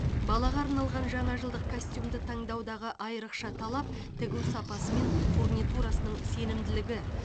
балаға арналған жаңа жылдық костюмді таңдаудағы айрықша талап тігу сапасы мен фурнитурасының сенімділігі